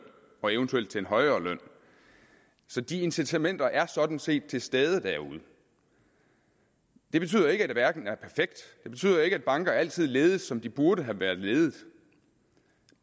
og eventuelt til en højere løn så de incitamenter er sådan set til stede derude det betyder ikke at verden er perfekt det betyder ikke at banker altid ledes som de burde have været ledet